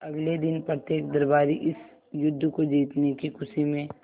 अगले दिन प्रत्येक दरबारी इस युद्ध को जीतने की खुशी में